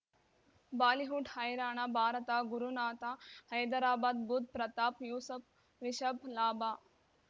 Bollywood ಹೈರಾಣ ಭಾರತ ಗುರುನಾಥ ಹೈದರಾಬಾದ್ ಬುಧ್ ಪ್ರತಾಪ್ ಯೂಸಫ್ ರಿಷಬ್ ಲಾಭ